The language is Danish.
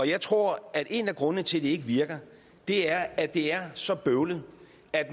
jeg tror at en af grundene til at det ikke virker er at det er så bøvlet